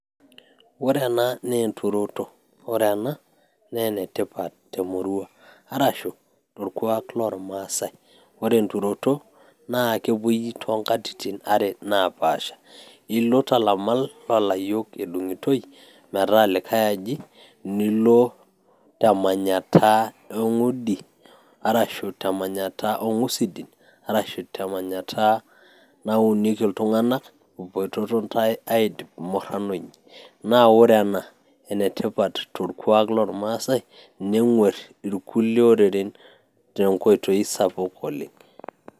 Ore ena naa enturoto ore ena naa enetipat temorua arashu torkuak lormaasay ore enturoto naa kepuoi toonkatitin are naapasha ilo tolamal loolayiok edung'itoi metaa likay aji nilo temanyata eng'udi arashu temanyatta oo ng'usidin arashu temanyatta naunieki iltung'anak ipoitoto intay aidip murrano inyi naa ore ena naa enetipat torkuak lormaasay neng'uarr irkulie oreren tenkoitoi sapuk oleng.